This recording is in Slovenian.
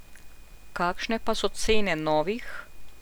Kakšne pa so cene novih?